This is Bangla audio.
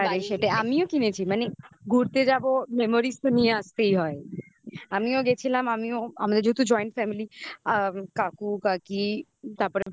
হতে পারে. সেটা আমিও কিনেছি. মানে ঘুরতে যাবো. memories তো নিয়ে আসতেই হয় আমিও গেছিলাম আমিও আমাদের যেহেতু joint family আ কাকু কাকি তারপরে